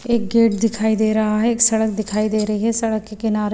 एक गेट दिखाई दे रहा है एक सड़क दिखाई दे रही है सड़क के किनारे--